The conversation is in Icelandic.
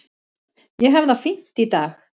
Ég hef það fínt í dag.